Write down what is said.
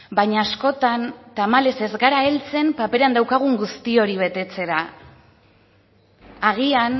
baina askotan tamalez ez gara heltzen paperean daukagun guzti hori betetzera agian